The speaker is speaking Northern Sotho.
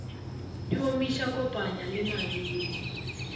di omiša kopanya le mabele